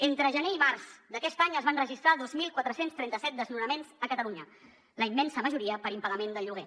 entre gener i març d’aquest any es van registrar dos mil quatre cents i trenta set desnonaments a catalunya la immensa majoria per impagament del lloguer